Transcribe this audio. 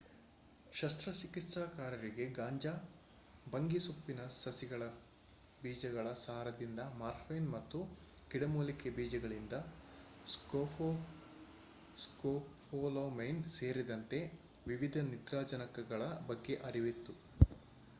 ಶಸ್ತ್ರಚಿಕಿತ್ಸಕರಿಗೆ ಗಾಂಜಾ/ಭಂಗಿಸೊಪ್ಪಿನ ಸಸಿಗಳ ಬೀಜಗಳ ಸಾರದಿಂದ ಮಾರ್ಫೈನ್ ಮತ್ತು ಗಿಡಮೂಲಿಕೆ ಬೀಜಗಳಿಂದ ಸ್ಕೋಪೋಲಮೈನ್ ಸೇರಿದಂತೆ ವಿವಿಧ ನಿದ್ರಾಜನಕಗಳ ಬಗ್ಗೆ ಅರಿವಿತ್ತು